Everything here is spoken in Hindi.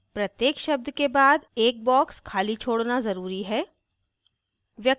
प्रत्येक शब्द के बाद एक box खाली छोड़ना ज़रूरी है